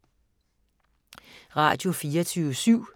Radio24syv